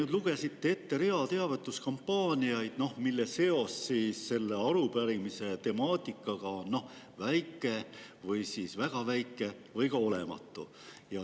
Te lugesite ette rea teavituskampaaniaid, mille seos selle arupärimise temaatikaga on väga väike või lausa olematu.